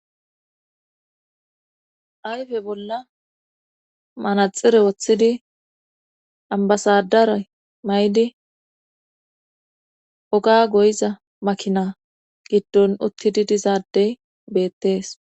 Ayfe bolla manaxire woththidi ambasadara may7di oga goyiza makina giddon uttidi dizaadey beettees